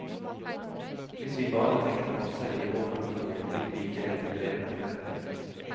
Hvis vi bare tenkte på oss selv i vår familie, ville vi ikke lenger drevet med forretninger.